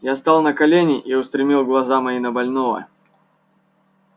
я стал на колени и устремил глаза мои на больного